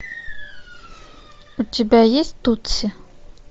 у тебя есть тутси